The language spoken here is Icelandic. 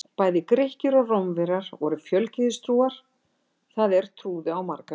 Bæði Grikkir og Rómverjar voru fjölgyðistrúar, það er trúðu á marga guði.